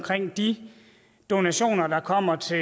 de donationer der kommer til